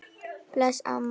Bless, amma mín.